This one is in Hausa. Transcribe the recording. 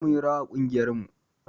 Yau munyi rawa a ƙungiyar mu